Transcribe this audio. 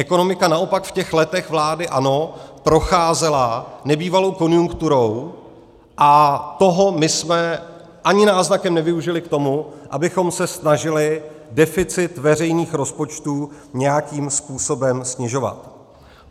Ekonomika naopak v těch letech vlády ANO procházela nebývalou konjunkturou a toho my jsme ani náznakem nevyužili k tomu, abychom se snažili deficit veřejných rozpočtů nějakým způsobem snižovat.